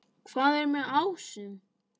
Hvað er með ásum?